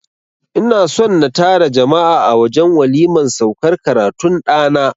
I na son na tara jama'a a wajen waliman saukar karatun ɗana.